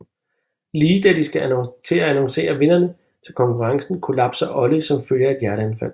Lige da de skal til at annoncere vindere til konkurrencen kollapser Ollie som følge af et hjerteanfald